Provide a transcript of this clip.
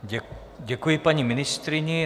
Děkuji paní ministryni.